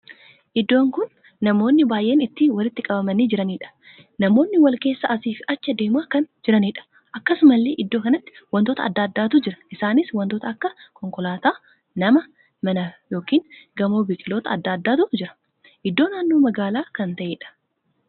Iddoon kun namoonni baay'een itti walitti qabamanii jiraniidha. namoonni wal keessa asiif achi adeemaa kan jiranidha. akkasumallee iddoo kanatti wantoota addaa addaatu jira. isaanis wantoota akka konkolootaa, nama, mana ykn gamoo biqiloota addaa addaatu jira. iddoo naannoo magaalaa kan taheedha.